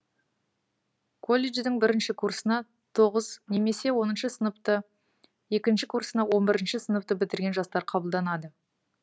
колледждің бірінші курсына тоғыз немесе оныншы сыныпты екінші курсына он бірінші сыныпты бітірген жастар қабылданады